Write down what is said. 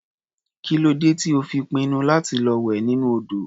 Kí ló dé tí ó fi pinnu láti lọ wẹ̀ nínú odò?